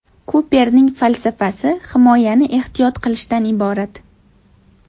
Kuperning falsafasi himoyani ehtiyot qilishdan iborat!”.